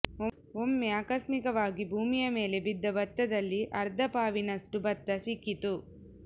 ಒಮ್ಮೆ ಆಕಸ್ಮಿಕವಾಗಿ ಭೂಮಿಯ ಮೇಲೆ ಬಿದ್ದ ಭತ್ತದಲ್ಲಿ ಅರ್ಧ ಪಾವಿನಷ್ಟು ಭತ್ತ ಸಿಕ್ಕಿತು